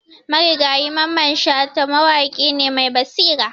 Marigayi Mamman Shata mawaƙi ne mai basira.